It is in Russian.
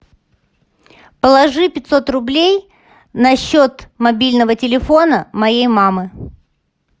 положи пятьсот рублей на счет мобильного телефона моей мамы